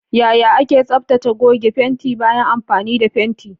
Yaya ake tsaftace goge fenti bayan amfani da fenti?